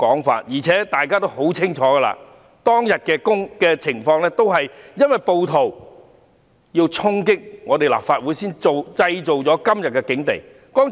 況且，大家也清楚當日的情況，因為暴徒要衝擊立法會才造成今天的境地。